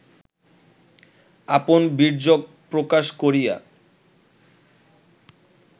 আপন বীর্যক প্রকাশ করিয়া